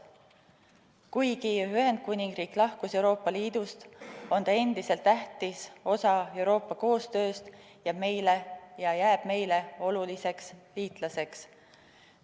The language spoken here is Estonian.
Kuigi Ühendkuningriik lahkus Euroopa Liidust, on ta endiselt tähtis osa Euroopa koostööst ja jääb meile oluliseks liitlaseks.